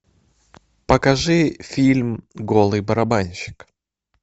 покажи фильм голый барабанщик